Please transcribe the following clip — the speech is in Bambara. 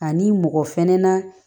Ani mɔgɔ fɛnɛ na